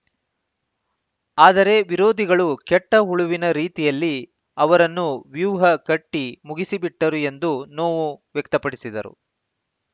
ಆದರೆ ವಿರೋಧಿಗಳು ಕೆಟ್ಟಹುಳುವಿನ ರೀತಿಯಲ್ಲಿ ಅವರನ್ನು ವ್ಯೂಹ ಕಟ್ಟಿಮುಗಿಸಿಬಿಟ್ಟರು ಎಂದು ನೋವು ವ್ಯಕ್ತಪಡಿಸಿದರು